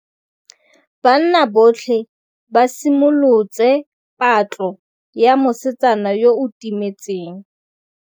Banna botlhê ba simolotse patlô ya mosetsana yo o timetseng.